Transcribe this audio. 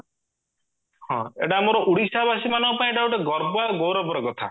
ଏଟା ଆମର ଓଡିଆଶା ବାସୀମାନଙ୍କ ପାଇଁ ଗର୍ବ ଆଉ ଗୌରବର କଥା